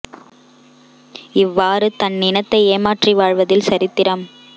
இவ்வாறு தன்னினத்தை ஏமாற்ரி வாழ்வதில் சரித்திரம்